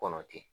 Kɔnɔ ten